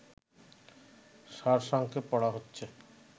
সারসংক্ষেপ পড়া হচ্ছে